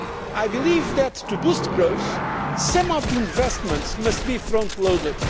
economy. I believe that, to boost growth, some of the investments must be frontloaded.